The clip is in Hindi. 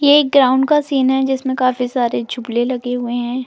ये एक ग्राउंड का सीन है जिसमें काफी सारे झुबले लगे हुए हैं।